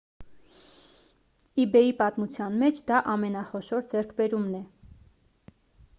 իբեյի պատմության մեջ դա ամենախոշոր ձեռքբերումն է